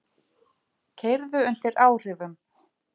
Keyrðu undir áhrifum